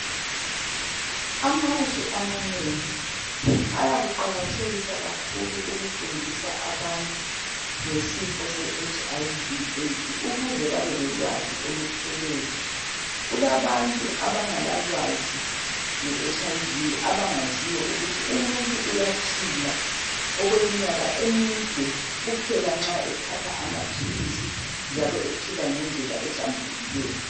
Amazwe amanengi ayakuqakathekisa kakhulu ukufundisa abantu ngesifo se HIV/AIDS, ukuze babelolwazi oluphelele. Kulabantu abangelalwazi ngeHIV, abangaziyo ukuthi umuntu uyaphila okweminyaka emide kuphela nxa ethatha amaphilisi njalo ephila ngendlela ehlambulukileyo.